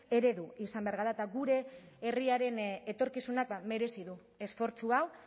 eredu izan behar gara eta gure herriaren etorkizunak merezi du esfortzu hau